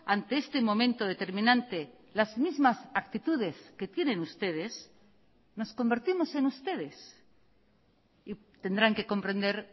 ante este momento determinante las mismas actitudes que tienen ustedes nos convertimos en ustedes y tendrán que comprender